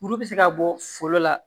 Kuru bɛ se ka bɔ foro la